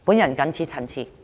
我謹此陳辭。